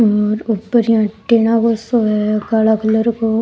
और ऊपर antenna को सो है काला कलर को।